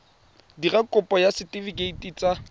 dira kopo ya setefikeiti sa